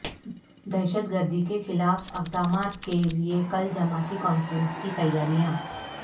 دہشت گردی کے خلاف اقدامات کے لیے کل جماعتی کانفرنس کی تیاریاں